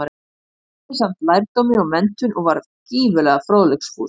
Hann unni samt lærdómi og menntun, og var gífurlega fróðleiksfús.